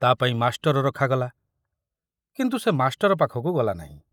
ତା ପାଇଁ ମାଷ୍ଟର ରଖାଗଲା, କିନ୍ତୁ ସେ ମାଷ୍ଟର ପାଖକୁ ଗଲାନାହିଁ।